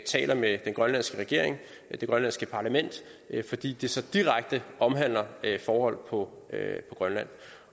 taler med den grønlandske regering og det grønlandske parlament fordi arktis så direkte omhandler forhold på grønland